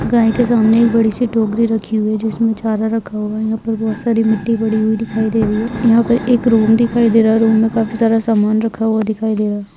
गाय के सामने एक बड़ी सी टोकरी रखी हुई है जिसमे चारा रखा हुआ है यहां पर बहुत सारी मिटी पड़ी दिखाई दे रही है यहां पर एक रूम दिखाई दे रहा है रूम में काफी सारा सामान रखा हुआ दिखाई दे रहा है।